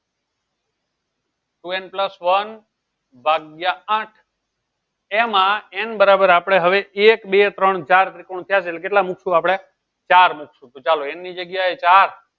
two n plus one ભાગ્ય આઠ એમાં n બરાબર આપણે હવે એક બે ત્રણ ચાર ત્રિકોણ થયા છે. એટલે કેટલા મુક્સું આપડે? ચાર મુક્સું તો ચાલો n ની જગ્યાએ ચાર.